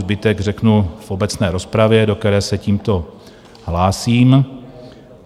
Zbytek řeknu v obecné rozpravě, do které se tímto hlásím.